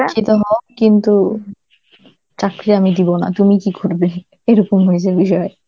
শিক্ষিত হও কিন্তু, চাকরি আমি দিবো না, তুমি কি করবে এরকম হয়েছে বিষয়.